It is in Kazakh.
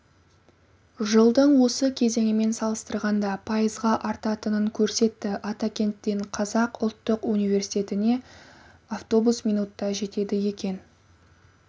жылдың осы кезеңімен салыстырғанда пайызға артатынын көрсетті атакенттен қазақ ұлттық университетіне автобус минутта жетеді екен